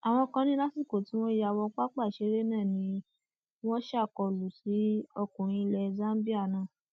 àwọn kan ní lásìkò tí wọn ya wọ pápá ìṣeré náà ni wọn ṣàkólú sí ọkùnrin ilẹ zambia náà